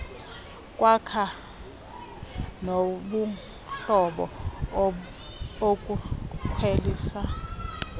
kwakha nobuhlobo ukukhwelisa